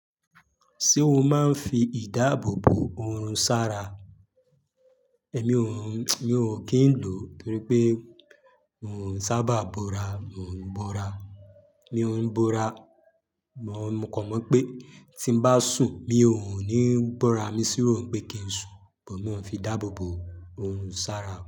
Ṣé o máa ń fi ìdáàbò bo orun sára? Èmi ò ń, mi ò kí ń lò ó torí pé ò ń sábà bóra, mò ń bára, mi ò ń bora. Mo kàn mọ̀ pé tí bá sùn, mi ò ní bóra, mi sì rò pé kí n sùn, bọ̀ mó ma fi ìdáàbò bo ohun sára.